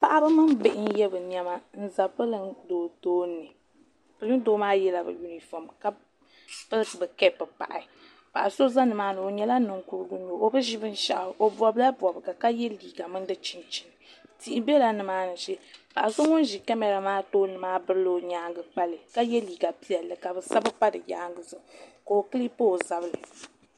Paɣaba mini bihi n ye bɛ niɛma n za pirin'doo tooni pirin'doo maa yela bɛ yunifom pili bɛ kapu pahi paɣa so za nimaani o nyɛla Ninkurigu n nyɛ o o bi ʒi binshaɣu o bobila bobga ka ye liiga mimi fi chinchini tihi biɛla nimaani shee paɣa so ŋun ʒi kamara maa tooni maa birila o nyaanga kpali ka ye liiga piɛlli ka bɛ sabi pa di yaanga zuɣu ka o kilipi o zabri.